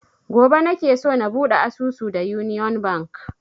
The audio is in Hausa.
Gobe nake so na buɗe asusu da union bank